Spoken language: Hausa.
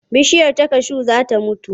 Bishiyar kashu za ta mutu.